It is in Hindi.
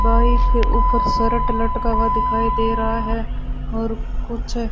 बाइक के ऊपर शर्ट लटका हुआ दिखाई दे रहा है और कुछ--